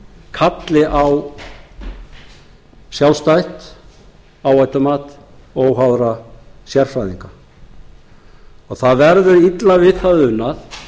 kalli á sjálfstætt áhættumat óháðra sérfræðinga og það verði illa við það unað